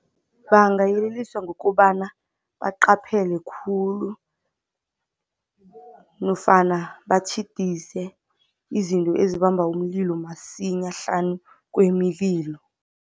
Bangayeleliswa ngokobana baqaphele khulu nofana batjhidise izinto ezibamba umlilo masinya hlanu kwemililo.